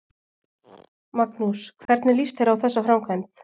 Magnús: Hvernig líst þér á þessa framkvæmd?